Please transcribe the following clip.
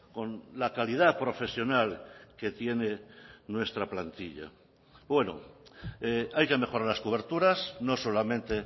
con la calidad profesional que tiene nuestra plantilla bueno hay que mejorar las coberturas no solamente